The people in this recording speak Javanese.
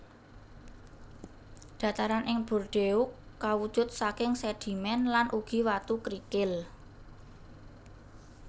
Dhataran ing Bordeaux kawujud saking sedhimén lan ugi watu krikil